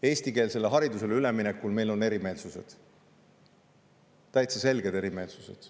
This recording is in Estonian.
Eestikeelsele haridusele üleminekul meil on erimeelsused, täitsa selged erimeelsused.